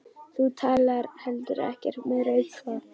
Þú talaðir heldur ekkert meira um þetta.